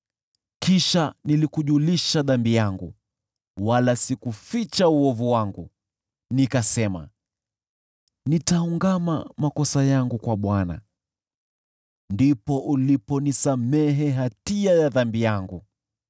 Kisha nilikujulisha dhambi yangu wala sikuficha uovu wangu. Nilisema, “Nitaungama makosa yangu kwa Bwana .” Ndipo uliponisamehe hatia ya dhambi yangu.